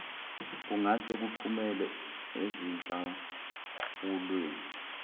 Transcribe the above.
kungase kuphumele ezinhlawulweni